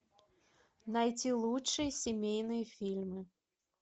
найти лучшие семейные фильмы